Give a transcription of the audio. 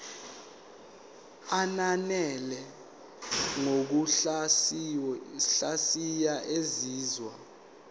ananele ngokuhlaziya izinzwa